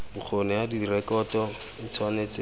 bokgoni ya direkoto e tshwanetse